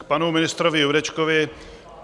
K panu ministrovi Jurečkovi.